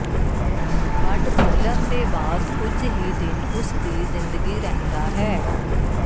ਬਡ ਖੋਲ੍ਹਣ ਦੇ ਬਾਅਦ ਕੁਝ ਹੀ ਦਿਨ ਉਸ ਦੀ ਜ਼ਿੰਦਗੀ ਰਹਿੰਦਾ ਹੈ